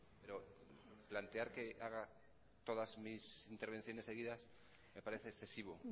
pero plantear que haga todas mis intervenciones seguidas me parece excesivo